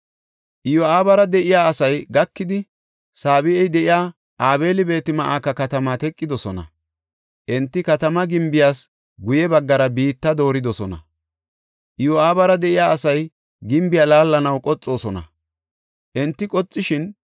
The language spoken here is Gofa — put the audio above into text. Iyo7aabara de7iya asay gakidi, Saabe7i de7iya Abeel-Beet-Ma7ika katama teqidosona. Enti katamaa gimbiyas guye baggara biitta dooridosona. Iyo7aabara de7iya asay gimbiya laallanaw qoxoosona. Enti qoxishin,